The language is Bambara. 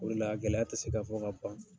O le la a gɛlɛya tɛ se ka fɔ ka ban.